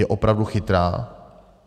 Je opravdu chytrá?